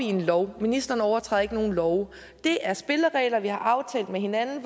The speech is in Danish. en lov ministeren overtræder ikke nogen love det er spilleregler vi har aftalt med hinanden